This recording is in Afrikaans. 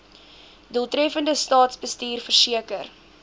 doeltreffende staatsbestuur verseker